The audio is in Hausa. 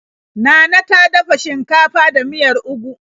Nana ta dafa shinkafa da miyar ugu.